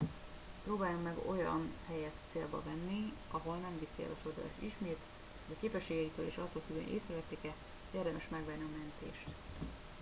próbáljon meg olyan helyet célba venni ahol nem viszi el a sodrás ismét vagy képességeitől és attól függően hogy észrevették e érdemes megvárni a mentést